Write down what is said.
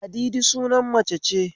Ladidi sunan mace ce